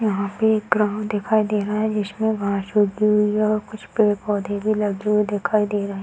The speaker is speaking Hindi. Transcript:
यहाँ पे एक ग्राउंड दिखाई दे रहा है जिसमें घास उगी हुई है और कुछ पेड़-पौधे भी लगे हुए दिखाई दे रहे है।